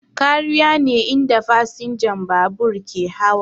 Kariya ne inda fasinjan babur ke hawa